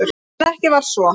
En ekki var svo.